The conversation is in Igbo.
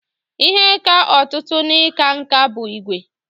Ihe ka ọtụtụ n'ịkwa nkà bụ ígwè.